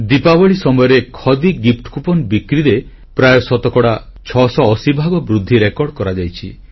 ଦୀପାବଳୀ ସମୟରେ ଖଦୀ ଉପହାର କୁପନ ବିକ୍ରିରେ ପ୍ରାୟ ଶତକଡ଼ା 680 ଭାଗ ବୃଦ୍ଧି ରେକର୍ଡ କରାଯାଇଛି